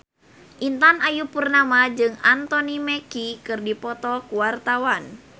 Intan Ayu Purnama jeung Anthony Mackie keur dipoto ku wartawan